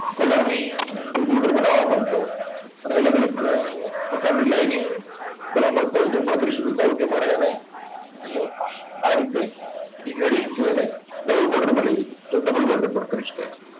colour ની જો border બનાવા માંગતા હોય અને અલગ અલગ અર પ્રકારની lining કરવા માંગતા હોય તો પણ કરી શકો છો. ધારો કે મારે આને અહીંયા આ રીતે જે reading છે એને નવી border માં લેવી હતી, તો double border પણ કરી શકાય છે.